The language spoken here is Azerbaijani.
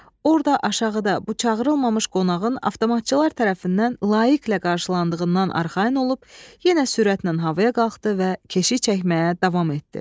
Orda aşağıda bu çağırılmamış qonağın avtomatçılar tərəfindən layiqqlə qarşılandığından arxayın olub, yenə sürətlə havaya qalxdı və keşik çəkməyə davam etdi.